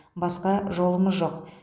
басқа жолымыз жоқ